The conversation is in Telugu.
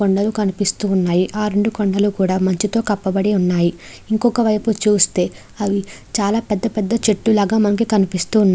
కొండలు కనిపిస్తూ ఉన్నాయి. ఆ రెండు కొండలు కూడా మంచుతో కప్పబడినవి ఉన్నాయి. ఇంకో వైపు చూస్తే చాలా పెద్ద పెద్ద చెట్టు లాగా మనకి కనిపిస్తు ఉన్--